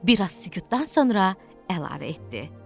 Bir az sükutdan sonra əlavə etdi.